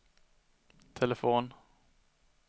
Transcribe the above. telefon